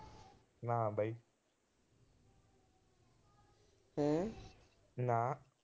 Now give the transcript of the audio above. ਨਾ ਬਾਈ। ਨਾ